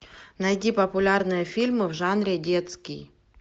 найди популярные фильмы в жанре детский